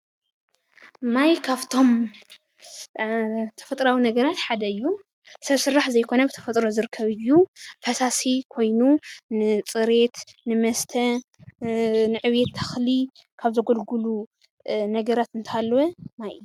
ማይ ካፍቶም ተፈጥራዊ ነገራት ሓደ እዩ፡፡ ሰብ ሰራሕ ዘይኮነ ብተፈጥሮ ዝርከብ እዩ፡፡ ፈሳሲ ኮይኑ ንፅሬት፣ ንመስተ፣ ንዕብየት ተኽሊ ካብ ዘገልግሉ ነገራት እንተሃለወ ማይ እዩ፡፡